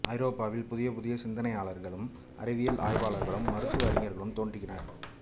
ஐரோப்பாவில் புதிய புதிய சிந்தனையாளர்களும் அறிவியல் ஆய்வாளர்களும் மருத்துவ அறிஞர்களும் தோன்றினர்